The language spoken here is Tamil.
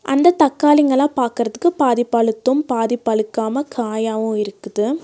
அந்த தக்காளிங்கலா பாக்கறதுக்கு பாதி பழுத்தும் பாதி பழுக்காம காயாவு இருக்குது.